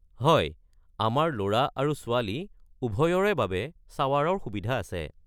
হয়, আমাৰ ল'ৰা আৰু ছোৱালী উভয়ৰে বাবে শ্বাৱাৰৰ সুবিধা আছে।